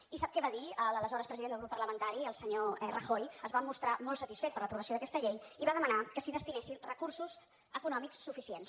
i sap què va dir l’aleshores president del grup parlamentari el senyor rajoy es va mostrar molt satisfet per l’aprovació d’aquesta llei i va demanar que s’hi destinessin recursos econòmics suficients